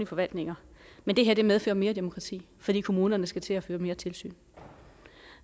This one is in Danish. forvaltninger men det her medfører mere bureaukrati fordi kommunerne skal til at føre mere tilsyn